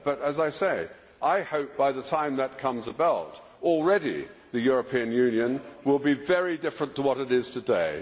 But, as I say, I hope that, by the time that comes about, the European Union will be very different to what it is today.